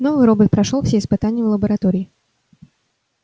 новый робот прошёл все испытания в лаборатории